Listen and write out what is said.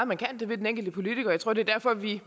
man kan det vil den enkelte politiker jeg tror det er derfor vi